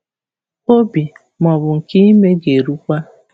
Obi, ma ọ bụ nke ime, ga-erukwa.